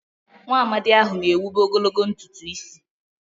Nwaamadi ahụ na-ewube ogologo ntutu isi.